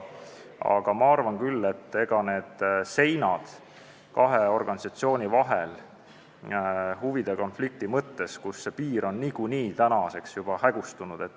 Kuid ma arvan küll, rääkides nendest seintest kahe organisatsiooni vahel huvide konflikti mõttes, et see piir on nagunii juba hägustunud.